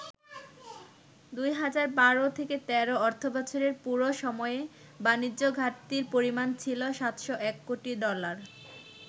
২০১২-১৩ অর্থবছরের পুরো সময়ে বাণিজ্য ঘাটতির পরিমাণ ছিল ৭০১ কোটি ডলার।